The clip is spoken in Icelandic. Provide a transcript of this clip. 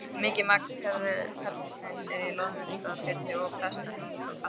Mikið magn perlusteins er í Loðmundarfirði og Prestahnúk á Kaldadal.